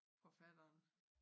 Forfatteren